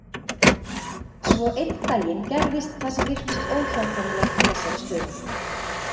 Svo einn daginn gerðist það sem virtist óhjákvæmilegt í þessari stöðu.